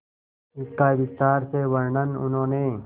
इसका विस्तार से वर्णन उन्होंने